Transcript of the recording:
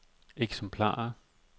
eksemplarer